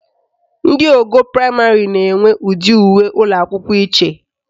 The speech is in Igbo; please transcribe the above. Ndị ogo praịmarị na-enwe ụdị uwe ụlọakwụkwọ iche